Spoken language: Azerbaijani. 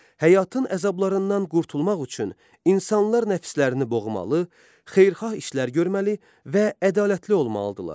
Həyatın əzablarından qurtulmaq üçün insanlar nəfslərini boğmalı, xeyirxah işlər görməli və ədalətli olmalıdırlar.